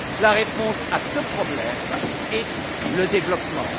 La réponse à ce problème est le développement.